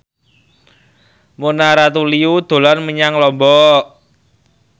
Mona Ratuliu dolan menyang Lombok